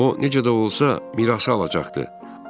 O necə də olsa mirası alacaqdı.